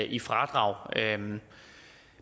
i fradrag